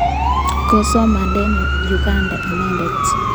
Kosomane Uganda inendet